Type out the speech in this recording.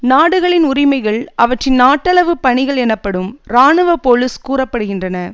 நாடுகளின் உரிமைகள் அவற்றின் நாட்டளவுப் பணிகள் எனப்படும் இராணுவ போலீஸ் கூற படுகின்றன